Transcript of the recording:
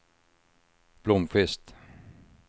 Blomkvist